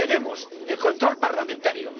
Sí, tenemos el control parlamentario.